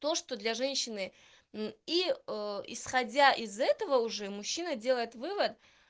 то что для женщины и исходя из этого уже мужчина делает вывод